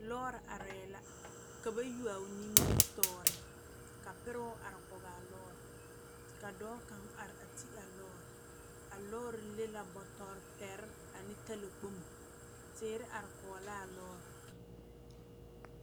Lɔɔre arɛɛ la ka ba yuo o nimitɔɔre ka peroo are kaara ka dɔɔkaŋ are peɛloo a lɔɔre le la bɔtore pɛrɛ ane talaare dire are kɔge la a lɔɔre